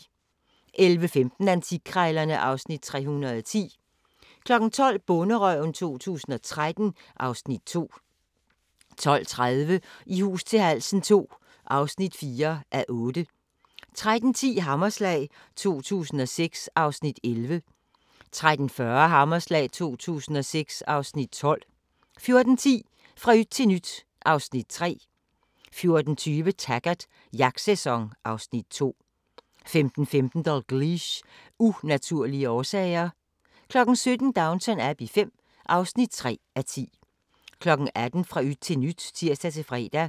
11:15: Antikkrejlerne (Afs. 310) 12:00: Bonderøven 2013 (Afs. 2) 12:30: I hus til halsen II (4:8) 13:10: Hammerslag 2006 (Afs. 11) 13:40: Hammerslag 2006 (Afs. 12) 14:10: Fra yt til nyt (Afs. 3) 14:20: Taggart: Jagtsæson (Afs. 2) 15:15: Dalgliesh: Unaturlige årsager 17:00: Downton Abbey V (3:10) 18:00: Fra yt til nyt (tir-fre)